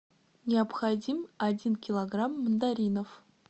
необходим один килограмм мандаринов